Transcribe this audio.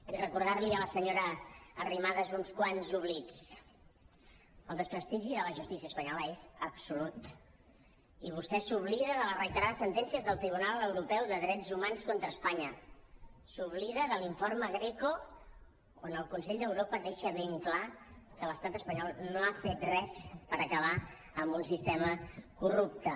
i recordar li a la senyora arrimadas uns quants oblits el desprestigi de la justícia espanyola és absolut i vostè s’oblida de les reiterades sentències del tribunal europeu de drets humans contra espanya s’oblida de l’informe greco en què el consell d’europa deixa ben clar que l’estat espanyol no ha fet res per acabar amb un sistema corrupte